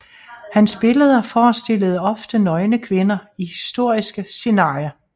Hans billeder forestillede ofte nøgne kvinder i historiske scenarier